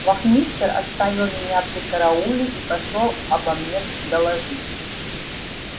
вахмистр оставил меня при карауле и пошёл обо мне доложить